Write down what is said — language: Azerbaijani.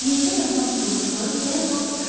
Yerdə yatan tutuquşuları dərhal uçurlar.